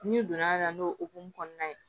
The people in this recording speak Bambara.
N'i donna a la n'o hokumu kɔnɔna ye